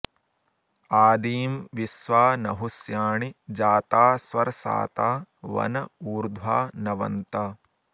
आदीं॒ विश्वा॑ नहु॒ष्या॑णि जा॒ता स्व॑र्षाता॒ वन॑ ऊ॒र्ध्वा न॑वन्त